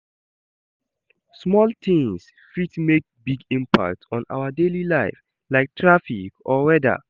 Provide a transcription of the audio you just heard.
Small tings fit make big impact on our daily life, like traffic or weather.